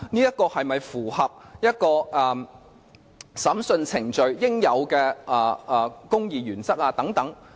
這是否符合審訊程序應有的公義原則等。